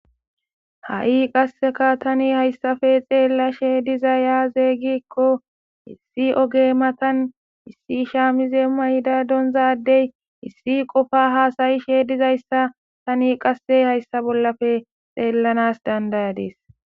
ha7i qasseka tani hayssafe xeella shee diza yaazey gikko issi oge matan issi shaamize mayda donzadey issi qofa haasayi sheedizayssa tani qasse hayssa bollafe xeellanas dandayadees